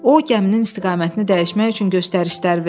O gəminin istiqamətini dəyişmək üçün göstərişlər verdi.